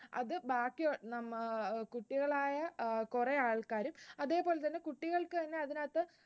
അത് ഭാഗ്യം ആഹ് കുട്ടികൾ ആയ കുറെ ആൾക്കാർ അതേപോലെതന്നെ കുട്ടികൾക്ക് തന്നെ അതിനകത്തു